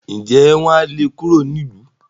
ǹjẹ́ wọn á le kúrò nílùú?